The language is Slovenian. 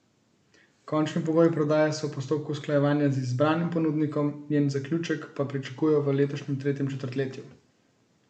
Končni pogoji prodaje so v postopku usklajevanja z izbranim ponudnikom, njen zaključek pa pričakujejo v letošnjem tretjem četrtletju.